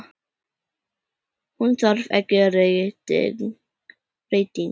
Hún þarf ekki rýting.